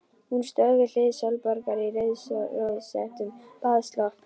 Hún stóð við hlið Sólborgar í rauðrósóttum baðslopp.